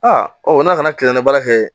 Aa ɔ n'a kana kile na baara kɛ